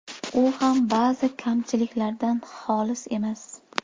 U ham ba’zi kamchiliklardan xoli emas.